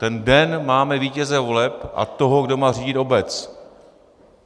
Ten den máme vítěze voleb a toho, kdo má řídit obec.